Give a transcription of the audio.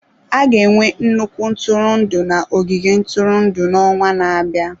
A ga-enwe nnukwu ntụrụndụ na ogige ntụrụndụ n'ọnwa na-abịa.